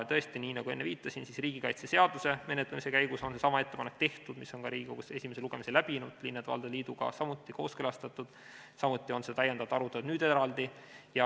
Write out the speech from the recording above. Tõesti, nii nagu ma enne viitasin, riigikaitseseaduse menetlemise käigus on seesama ettepanek tehtud, see eelnõu on ka Riigikogus esimese lugemise läbinud, linnade ja valdade liiduga on see kooskõlastatud, samuti on seda täiendavalt arutatud nüüd eraldi.